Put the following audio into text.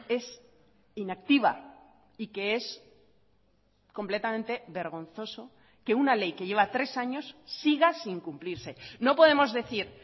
es inactiva y que es completamente vergonzoso que una ley que lleva tres años siga sin cumplirse no podemos decir